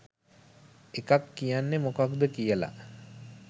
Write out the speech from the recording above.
එකක් කියන්නේ මොකද්ද කියලා.